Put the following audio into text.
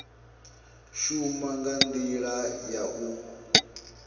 shuma nga ndila ya u